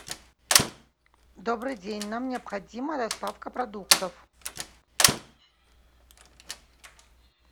добрый день нам необходима доставка продуктов